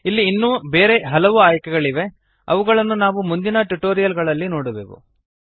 ಇಲ್ಲಿ ಇನ್ನೂ ಬೇರೆ ಹಲವು ಆಯ್ಕೆಗಳಿವೆ ಅವುಗಳನ್ನು ನಾವು ಮುಂದಿನ ಟ್ಯುಟೋರಿಯಲ್ ಗಳಲ್ಲಿ ನೋಡುವೆವು